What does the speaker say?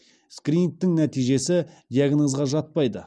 скринингтің нәтижесі диагнозға жатпайды